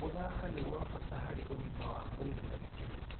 Gũthaka nĩ gwa bata harĩ ũgima wa mwĩrĩ na gĩkeno.